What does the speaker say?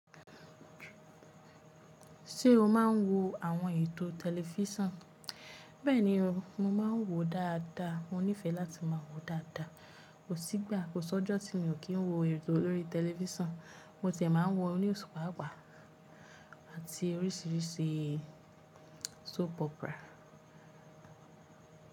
Ṣé o máa ń wo àwọn ètò tẹlifísàn? Bẹ́ẹ̀ni o, mo máa ń wò ó dáadáa. Mo nífẹ̀ẹ́ láti máa wò ó dáadáa. Kò sí ìgbà, kò sọ́jọ́ tí mo kì í wo ètò lórí tẹlifísàn. Mo ti ẹ̀ máa ń wo news pápá, àti oríṣiríṣi soap opera.